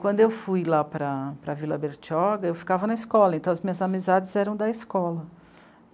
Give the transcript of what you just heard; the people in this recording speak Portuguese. Quando eu fui lá para a Vila Bertioga, eu ficava na escola, então as minhas amizades eram da escola.